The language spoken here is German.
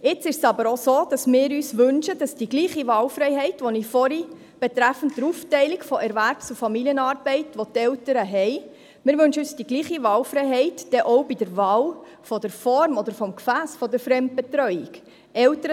Nun wünschen wir uns aber, dass Eltern die gleiche Wahlfreiheit, die ich vorhin betreffend die Aufteilung von Erwerbs- und Familienarbeit erwähnt habe, auch bei der Wahl der Form oder des Gefässes der Fremdbetreuung haben.